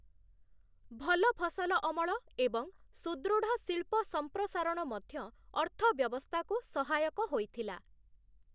ଭଲ ଫସଲ ଅମଳ ଏବଂ ସୁଦୃଢ଼ ଶିଳ୍ପ ସମ୍ପ୍ରସାରଣ ମଧ୍ୟ ଅର୍ଥବ୍ୟବସ୍ଥାକୁ ସହାୟକ ହୋଇଥିଲା ।